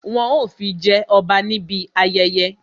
Wọn ó fi jẹ ọba níbi ayẹyẹ